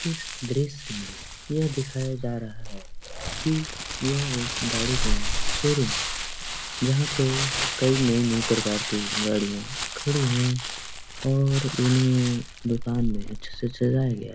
इस दृश्य में यह दिखाया जा रहा है की यह एक गाड़ी का शोरूम है जहाँ पे कई नई-नई प्रकार की गाड़िया खड़ी है और इन्हे दुकान में अच्छे से सजाया गया।